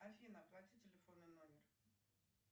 афина оплати телефонный номер